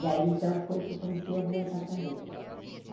E aí, então, foi que eu comecei a viajar também.